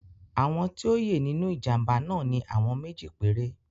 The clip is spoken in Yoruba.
Àwọn tí o ye nínú ìjàmbá náà ni àwọn méjì péré.